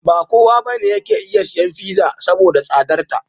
Ba kowa ba ne yake isan siyan fiza (pizza), saboda da tsadarta.